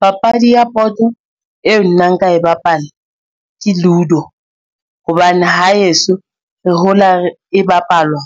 Papadi ya boto eo nna nka e bapala ke Ludo, hobane ha heso re hola e bapalwa,